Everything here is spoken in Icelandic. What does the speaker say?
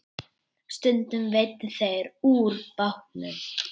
Stundum veiddu þeir úr bátnum.